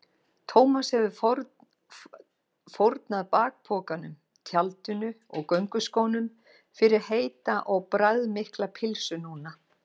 Thomas hefði fórnað bakpokanum, tjaldinu og gönguskónum fyrir heita og bragðmikla pylsu núna.